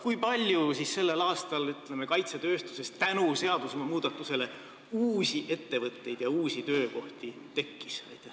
Kui palju sellel aastal kaitsetööstuses tänu seaduse muutmisele uusi ettevõtteid ja uusi töökohti tekkis?